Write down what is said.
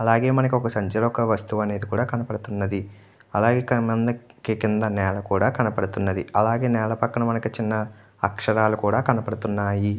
అలాగే మనకొక సంచిలో ఒక వస్తువు అనేది కూడా కనబడుతున్నది. కింద నేల కూడా కనపడుతుంది అలాగే నేల పక్కన చిన్న అక్షరాలు కూడా కనబడుతున్నాయి.